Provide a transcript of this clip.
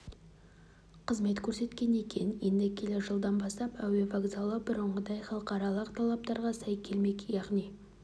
қызмет көрсеткен екен енді келер жылдан бастап әуе вокзалы бұрынғыдай халықаралық талаптарға сай келмек яғни